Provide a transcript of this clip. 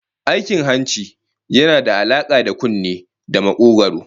Aikin hanci yana da alaka da kunne da makogwaro